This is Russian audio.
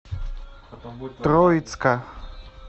троицка